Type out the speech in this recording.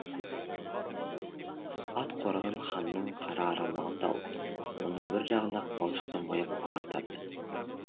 ат қорадан ханның қара арғымағын тауып оның бір жағын ақ балшықпен бояп ағартады